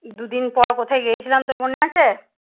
দুদিন পর কোথায় গিয়েছিলাম তোর মনে আছে?